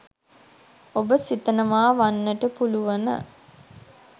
ඔබ සිතනවා වන්නට පුළුවන.